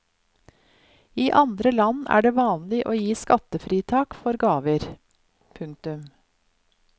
I andre land er det vanlig å gi skattefritak for gaver. punktum